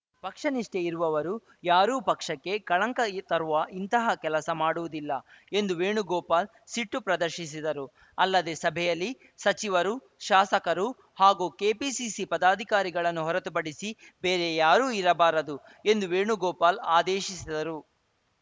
ಪಕ್ಷ ನಿಷ್ಠೆ ಇರುವವರು ಯಾರೂ ಪಕ್ಷಕ್ಕೆ ಕಳಂಕ ಇ ತರುವ ಇಂತಹ ಕೆಲಸ ಮಾಡುವುದಿಲ್ಲ ಎಂದು ವೇಣುಗೋಪಾಲ್‌ ಸಿಟ್ಟು ಪ್ರದರ್ಶಿಸಿದರು ಅಲ್ಲದೆ ಸಭೆಯಲ್ಲಿ ಸಚಿವರು ಶಾಸಕರು ಹಾಗೂ ಕೆಪಿಸಿಸಿ ಪದಾಧಿಕಾರಿಗಳನ್ನು ಹೊರತುಪಡಿಸಿ ಬೇರೆ ಯಾರೂ ಇರಬಾರದು ಎಂದು ವೇಣುಗೋಪಾಲ್‌ ಆದೇಶಿಸಿದರು